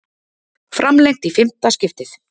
Framlengt í fimmta skiptið